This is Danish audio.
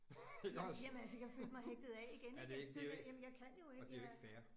Jamen jamen altså jeg følte mig hægtet af igen ik altså det er jo det jamen jeg kan jo ikke jeg